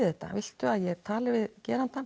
þetta viltu að ég tali við gerandann